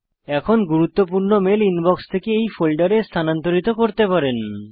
এখন গুরুত্বপূর্ণ mail inbox থেকে এই ফোল্ডারে স্থানান্তরিত করতে পারেন